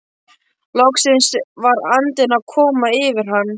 Loksins var andinn að koma yfir hann!